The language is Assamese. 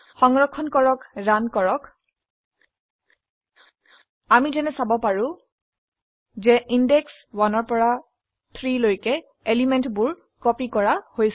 সংৰক্ষণ কৰক ৰান কৰক আমি যেনে দেখিব পাৰো যে ইন্দেশ 1পৰা 3 লৈকে এলিমেন্টবোৰ কপি কৰা হৈছে